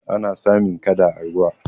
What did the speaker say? ana samun kada a ruwa